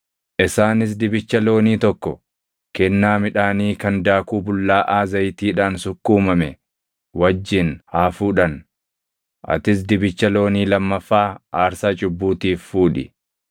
Isaanis dibicha loonii tokko kennaa midhaanii kan daakuu bullaaʼaa zayitiidhaan sukkuumame wajjin haa fuudhan; atis dibicha loonii lammaffaa aarsaa cubbuutiif fuudhi.